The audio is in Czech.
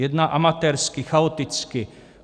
Jedná amatérsky, chaoticky.